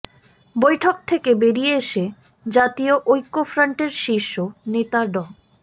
বৈঠক থেকে বেরিয়ে এসে জাতীয় ঐক্যফ্রন্টের শীর্ষ নেতা ড